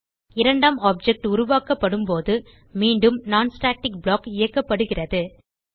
இரண்டாம் ஆப்ஜெக்ட் உருவாக்கப்படும்போது மீண்டும் non ஸ்டாட்டிக் ப்ளாக் இயக்கப்படுகிறது